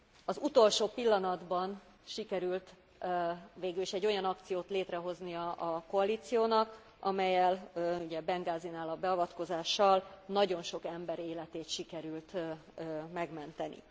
Az utolsó pillanatban sikerült végül is egy olyan akciót létrehozni a koalíciónak, amellyel ugye Bengázinál a beavatkozással nagyon sok ember életét sikerült megmenteni.